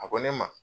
A ko ne ma